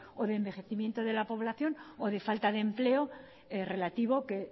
o de envejecimiento de la población o de falta de empleo relativo que